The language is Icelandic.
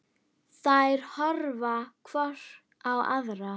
Þær horfa hvor á aðra.